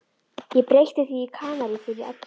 Ég breytti því í Kanarí fyrir Eddu.